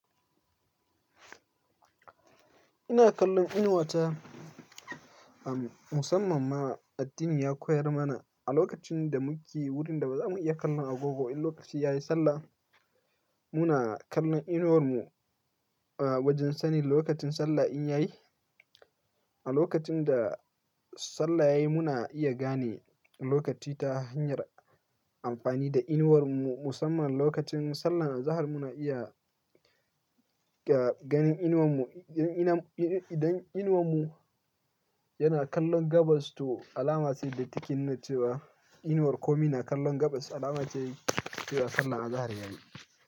Ina kallon inuwata, musamman ma addini ya koyar mana a lokacin da muke wurin da ba za mu iya kallon agogo in lokaci yayi sallah, muna kallon inuwar mu a wajen sani lokacin sallah in yayi. A lokacin da sallah yayi muna iya gane lokaci ta hanyar amfani da inuwar mu, musamman lokacin sallah azahar muna iya ganin inuwar mu. Idan inuwar mu yana kallon gabas to alama ce da take nuna cewa inuwar komi na kallon gabas alama ce yi cewa sallah azahar yayi.